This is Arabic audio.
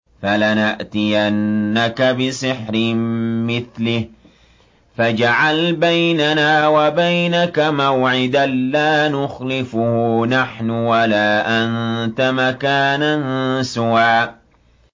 فَلَنَأْتِيَنَّكَ بِسِحْرٍ مِّثْلِهِ فَاجْعَلْ بَيْنَنَا وَبَيْنَكَ مَوْعِدًا لَّا نُخْلِفُهُ نَحْنُ وَلَا أَنتَ مَكَانًا سُوًى